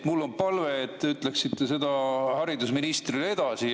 Mul on palve, et te ütleksite selle haridusministrile edasi.